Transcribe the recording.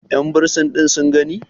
yanbursin ɗin sun gani?